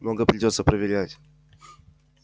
много придётся проверять